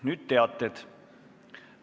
Nüüd teated.